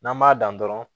N'an b'a dan dɔrɔn